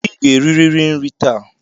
I ga-eririri nri taa